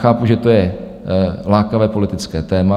Chápu, že to je lákavé politické téma.